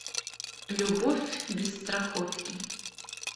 любовь без страховки